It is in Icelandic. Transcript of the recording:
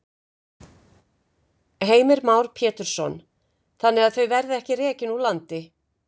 Heimir Már Pétursson: Þannig að þau verði ekki rekin úr landi?